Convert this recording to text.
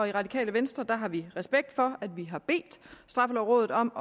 det radikale venstre har vi respekt for at vi har bedt straffelovrådet om